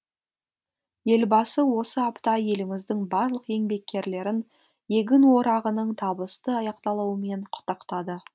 елбасы осы апта еліміздің барлық еңбеккерлерін егін орағының табысты аяқталуымен құттықтады